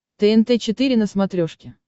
тнт четыре на смотрешке